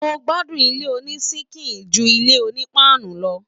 Mo gbádùn ilé oní síkìì ju ilé oní paanu lọ.